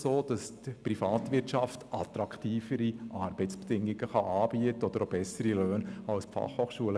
Hier bietet die Privatwirtschaft attraktivere Arbeitsbedingungen und bessere Löhne.